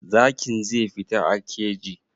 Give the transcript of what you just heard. Zakin zai fita a keji.